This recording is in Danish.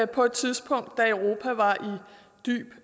på et tidspunkt